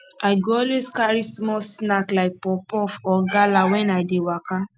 i go always carry small snack like puffpuff or gala when i dey waka